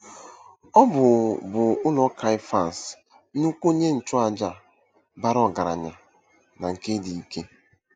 Ọ bụ bụ ụlọ Keyafas, nnukwu onye nchụàjà bara ọgaranya na nke dị ike.